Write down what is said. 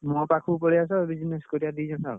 ମୋ ପାଖକୁ ପଳେଇଆସ business କରିଆ ଦି ଜଣ ଆଉ।